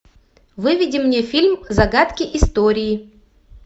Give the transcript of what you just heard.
выведи мне фильм загадки истории